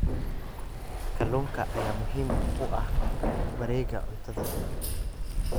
Kalluunka ayaa muhiim u ah wareegga cuntada.